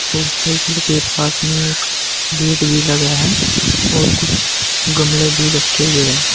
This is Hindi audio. मोटरसाइकिल के पास में एक गेट भी लगा है और कुछ गमले भी रखे हुए।